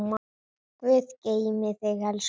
Guð geymi þig, elsku mamma.